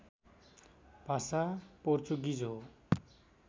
भाषा पोर्चुगिज हो